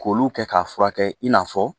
K'olu kɛ k'a furakɛ i n'a fɔ